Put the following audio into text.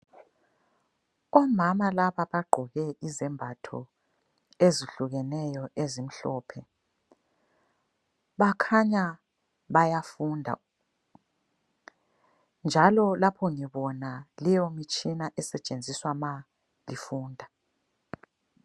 Omama laba bagqoke izembatho ezihlukeneyo ezimhlophe. Bakhanya bayafunda, njalo lapho ngibona leyomtshina esetshenziswa ma lifunda.